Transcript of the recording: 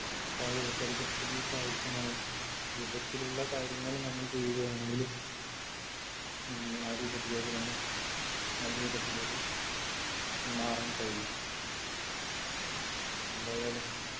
പായ പരിതസ്ഥിക്ക് ആവശ്യമായ രൂപത്തിലുള്ള കാര്യങ്ങൾ നമ്മൾ ചെയ്യുകയാണെങ്കില് മ് ആ രൂപത്തിലേക്ക് തന്നെ നല്ല രൂപത്തിലേക്ക് മാറാൻ കഴിയും എന്തായാലും